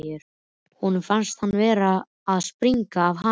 Honum fannst hann vera að springa af hamingju.